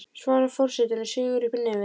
svarar forsetinn og sýgur upp í nefið.